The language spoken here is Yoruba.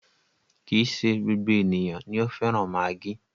Kì í ṣe gbogbo ènìyàn ni o fẹ́ràn maggi.